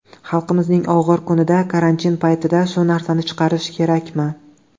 Xalqimizning og‘ir kunida, karantin paytida shu narsani chiqarish kerakmi?